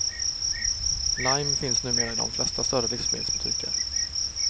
Lime finns numera i de flesta större livsmedelsbutiker.